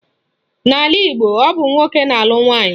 N'ala Igbo, ọ bụ nwoke na-alụ nwaanyị.